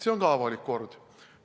See on ka avalik kord.